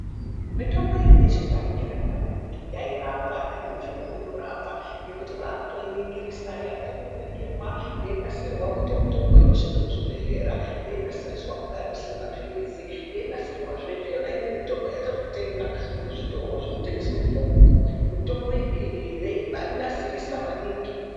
Mitombo yedu yechindau yakanaka maningi nekuti yairapa nanyamushi unou inorapa, ngekuti wakutoiningirisa, yaakutanga kuningirwa yeinasiriswa kuita mitombo inoshanda muzvibhedhleya, yei nasiriswa kugadzira mapiritsi yeinasirwazve, ndiyo imweni mitombo yatinotenga muzvitoro zvinotengesa mitombo yedu inei yeibaanasirisa maningi.